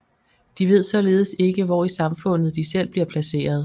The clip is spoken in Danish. De ved således ikke hvor i samfundet de selv bliver placeret